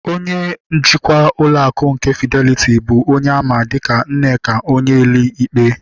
Onye njikwa ụlọ akụ nke Fideliti bụ onye a ma dịka Nneka Onyeali-Ikpe